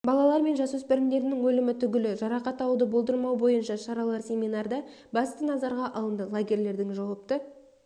балалар мен жасөспірімдердің өлімі түгілі жарақат алуды болдырмау бойынша шаралар семинарда басты назарға алынды лагерьлердің жауапты